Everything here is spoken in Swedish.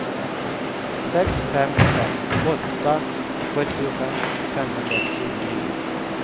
sex fem fem åtta sjuttiofem femhundratjugonio